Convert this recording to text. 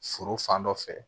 Foro fan dɔ fɛ